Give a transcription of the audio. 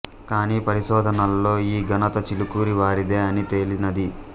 కానీ పరిశోధనల్లో ఈ ఘనత చిలుకూరి వారిదే అని తేలినది